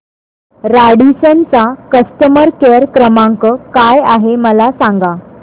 Radisson चा customer care क्रमांक काय आहे मला सांगा